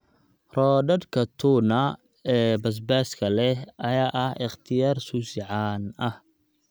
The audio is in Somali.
Roodhadhka tuna ee basbaaska leh ayaa ah ikhtiyaar sushi caan ah.